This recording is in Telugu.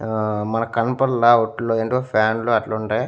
ఆహ్ మనకు కనపండ్ల వాట్లో ఏంటివో ఫ్యాన్ లు అట్లుంటై.